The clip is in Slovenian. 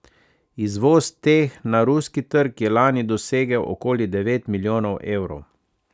Izvoz teh na ruski trg je lani dosegel okoli devet milijonov evrov.